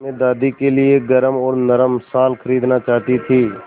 मैं दादी के लिए एक गरम और नरम शाल खरीदना चाहती थी